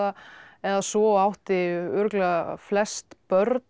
eða svo og átti örugglega flest börn